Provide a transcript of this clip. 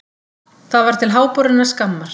Það var til háborinnar skammar.